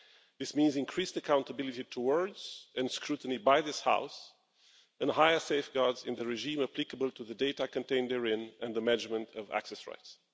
This means increased accountability towards, and scrutiny by, this House, and higher safeguards in the regime applicable to the data contained therein and the measurement of access rights.